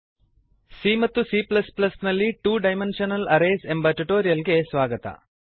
c ಮತ್ತು c ನಲ್ಲಿ two dimensional arrays ಎಂಬ ಟ್ಯುಟೋರಿಯಲ್ ಗೆ ಸ್ವಾಗತ